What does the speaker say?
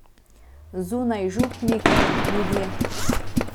Zunaj župnik, ljudje.